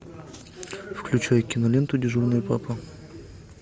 включай киноленту дежурный папа